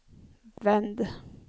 vänd